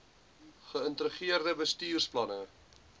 ge ïntegreerde bestuursplanne